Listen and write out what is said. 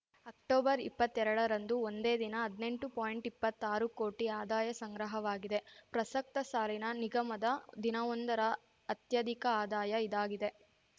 ಅಕ್ಟೊಬರ್ಇಪ್ಪತ್ತೆರಡರಂದು ಒಂದೇ ದಿನ ಹದ್ನೆಂಟು ಪಾಯಿಂಟ್ಇಪ್ಪತ್ತಾರು ಕೋಟಿ ಆದಾಯ ಸಂಗ್ರಹವಾಗಿದೆ ಪ್ರಸಕ್ತ ಸಾಲಿನ ನಿಗಮದ ದಿನವೊಂದರ ಅತ್ಯಧಿಕ ಆದಾಯ ಇದಾಗಿದೆ